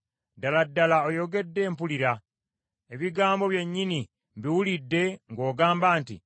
Ddala ddala oyogedde mpulira, ebigambo byennyini mbiwulidde ng’ogamba nti,